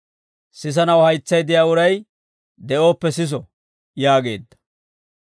Sisanaw haytsay de'iyaa uray de'ooppe siso» yaageedda.